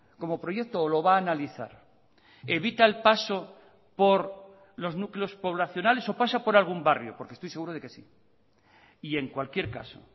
como proyecto o lo va a analizar evita el paso por los núcleos poblacionales o pasa por algún barrio porque estoy seguro de que sí y en cualquier caso